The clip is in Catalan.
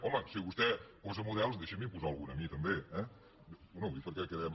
home si vostè posa models deixi me’n posar algun a mi també eh bé ho dic perquè quedem